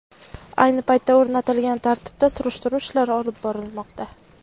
Ayni paytda o‘rnatilgan tartibda surishtiruv ishlari olib borilmoqda.